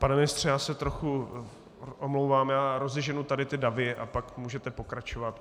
Pane ministře, já se trochu omlouvám, já rozeženu tady ty davy a pak můžete pokračovat.